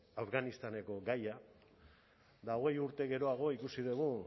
afganistaneko gaia eta hogei urte geroago ikusi dugu